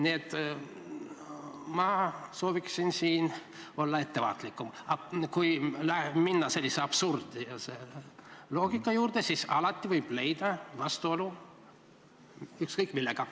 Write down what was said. Nii et ma sooviksin siin olla ettevaatlikum, aga kui minna sellise absurdse loogika juurde, siis alati võib leida vastuolu ükskõik millega.